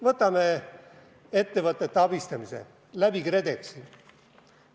Võtame ettevõtete abistamise KredExi kaudu.